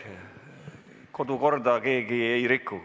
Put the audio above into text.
Kodukorda keegi ei riku.